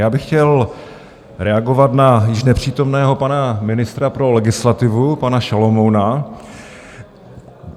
Já bych chtěl reagovat na již nepřítomného pana ministra pro legislativu, pana Šalomouna.